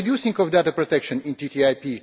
no reducing of data protection in TTIP